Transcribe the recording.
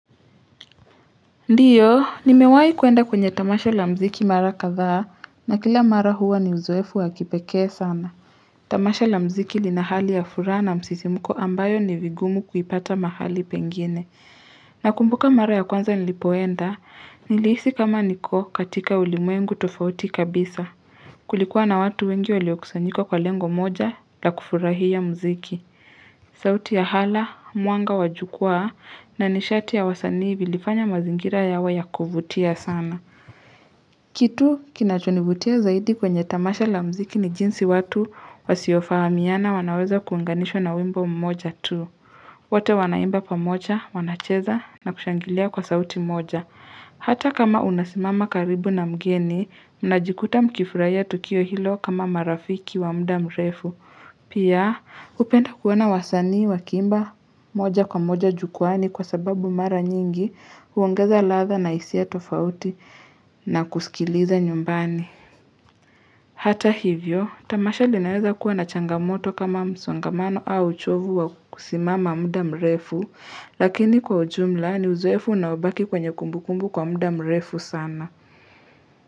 Ndio, nimewahi kwenda kwenye tamasha la mziki mara kadhaa na kila mara huwa ni uzoefu wa kipekee sana. Tamasho la mziki lina hali ya furaha na msisimuko ambayo ni vigumu kuipata mahali pengine. Nakumbuka mara ya kwanza nilipoenda, nilihisi kama niko katika ulimwengu tofauti kabisa. Kulikuwa na watu wengi waliokusanyika kwa lengo moja la kufurahia mziki. Sauti ya hala, mwanga wa jukwa na nishati ya wasanii vilifanya mazingira yawe ya kuvutia sana. Kitu kinachonivutia zaidi kwenye tamasha la mziki ni jinsi watu wasiofahamiana wanaweza kuunganishwa na wimbo mmoja tu. Wote wanaimba pamoja, wanacheza na kushangilia kwa sauti moja. Hata kama unasimama karibu na mgeni, unajikuta mkifurahia tukio hilo kama marafiki wa mda mrefu. Pia hupenda kuona wasanii wakiimba moja kwa moja jukwani kwa sababu mara nyingi huongeza ladha na hisia tofauti na kusikiliza nyumbani. Hata hivyo, tamasha linaweza kuwa na changamoto kama msongamano au uchovu wa kusimama muda mrefu, lakini kwa ujumla ni uzoefu unaobaki kwenye kumbukumbu kwa muda mrefu sana.